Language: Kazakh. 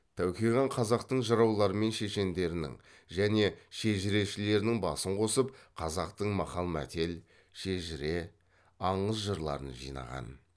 тәуке хан қазақтың жыраулары мен шешендерінің және шежірешілерінің басын қосып қазақтың мақал мәтел шежірне аңыз жырларын жинаған